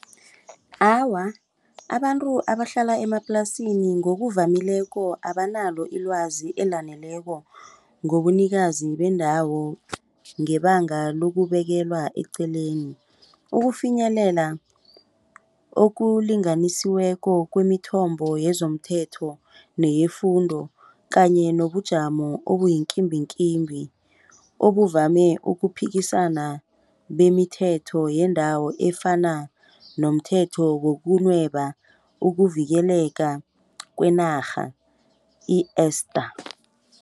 Awa, abantu abahlala emaplasini ngokuvamileko abanalo ilwazi elaneleko ngobunikazi bendawo ngebanga lokubekelwa eqeleni. Ukufinyelela okulinganisiweko kwemithombo yezomthetho neyefundo kanye nobujamo obuyinkimbinkimbi obuvame ukuphikisana bemithetho yendawo efana nomthetho wokunweba ukuvikeleka kwenarha i-Esther.